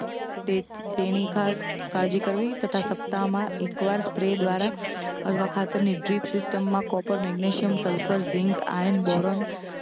તે તેની ખાસ કાળજી કરવી તથા સપ્તાહમાં એકવાર સ્પ્રે દ્વારા અથવા ખાતરની ડ્રિપ સીસ્ટમમાં copper magnesium sulphur zinc iron boron